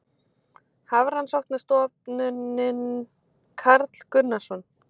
Hafrannsóknastofnunin- Karl Gunnarsson